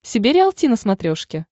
себе риалти на смотрешке